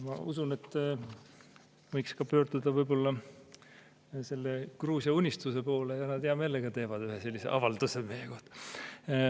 Ma usun, et võiks pöörduda võib-olla selle Gruusia Unistuse poole, nad hea meelega teevad ühe sellise avalduse meie kohta.